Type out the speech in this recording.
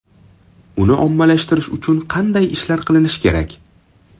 Uni ommalashtirish uchun qanday ishlar qilinishi kerak?